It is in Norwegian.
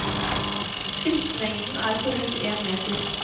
Skrittlengden er på rundt én meter.